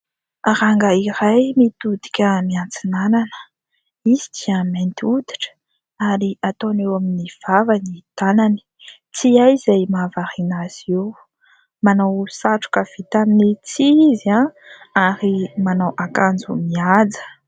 Rangahy iray mitodika miantsinanana izy dia mainty hoditra ary ataony eo amin'ny vava ny tanany tsy hay izay mahavariana azy io. Manao satroka vita amin'ny tsihy izy ary manao ankanjo mihaja